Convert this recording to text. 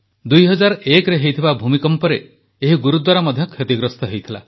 2001ରେ ହୋଇଥିବା ଭୂମିକମ୍ପରେ ଏହି ଗୁରୁଦ୍ୱାରା ମଧ୍ୟ କ୍ଷତିଗ୍ରସ୍ତ ହୋଇଥିଲା